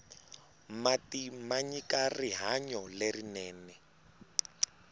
mati manyika rihanyo lerinene